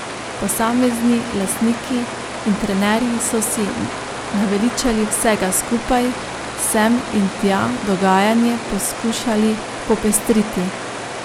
Posamezni lastniki in trenerji so si naveličani vsega skupaj sem in tja dogajanje poskušali popestriti.